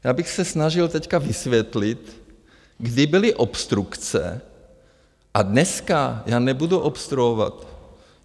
Já bych se snažil teď vysvětlit, kdy byly obstrukce, a dneska já nebudu obstruovat.